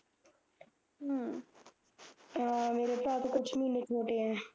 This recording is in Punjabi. ਹਮ ਆ ਮੇਰੇ ਭਰਾ ਤੋਂ ਕੁਛ ਮਹੀਨੇ ਛੋਟੇ ਐ